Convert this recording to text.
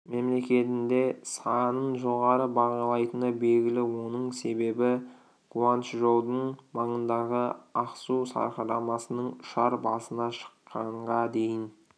мемлекетінде санын жоғары бағалайтыны белгілі оның себебі гуанчжоудың маңындағы ақсу сарқырамасының ұшар басына шыққанға дейін